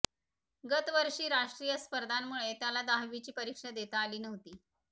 गतवर्षी राष्ट्रीय स्पर्धांमुळे त्याला दहावीची परीक्षा देता आली नव्हती